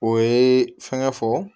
O ye fɛngɛ fɔ